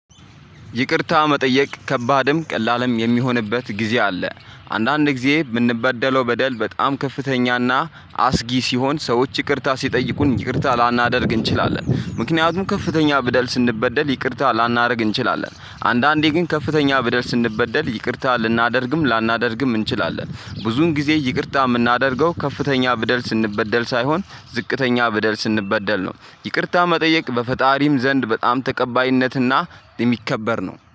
ይቅርታ መጠየቅ ከባድም ቀላልም የሚሆንበት ጊዜ አለ አንዳንድ ጊዜ የምንበደለው በደል በጣም ከፍተኛና አስጊ ሲሆን ሰዎች ይቅርታ ሲጠይቁን ይቅርታ ላናደርግ እንችላለን። ምክንያቱም ከፍተኛ በደል ስንበደል ይቅርታ ላናደርግ እንችላለን። አንዳንዴ ግን ከፍተኛ በደል ስንበደል ይቅርታ ልናደርግም ላናደርግም እንችላለን። ብዙን ጊዜ ይቅርታ የምናደርገው ከፍተኛ ብደል ስንበደል ሳይሆን ዝቅተኛ ብደል ስንበደል ነው። ይቅርታ መጠየቅ በፈጣሪም ዘንድ በጣም ተቀባይነትና የሚከበር ነው